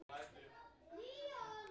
Það var nú gott, sagði